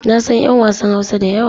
Na san 'yan wasan Hausa da yawa.